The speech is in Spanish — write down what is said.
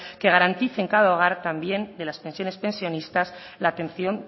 que garantice en cada hogar también de las pensiones pensionistas la atención